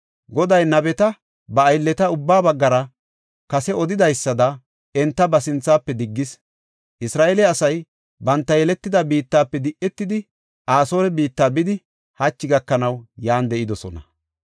Goday nabeta, ba aylleta ubbaa baggara kase odidaysada enta ba sinthafe diggis. Isra7eele asay banta yeletida biittafe di7etidi, Asoore biitta bidi, hachi gakanaw yan de7idosona.